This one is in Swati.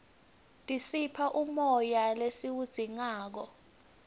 tisipha umoya lesiwudzingako